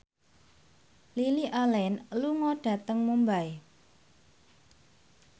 Lily Allen lunga dhateng Mumbai